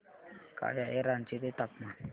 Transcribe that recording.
काय आहे रांची चे तापमान